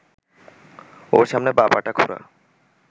ওর সামনে বাঁ-পাটা খোঁড়া